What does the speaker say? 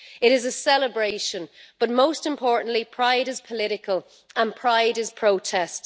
It is a celebration, but most importantly, Pride is political and Pride is protest.